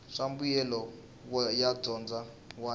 swa mbuyelo wa dyondzo wun